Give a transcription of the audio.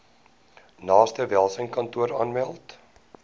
naaste welsynskantoor aanmeld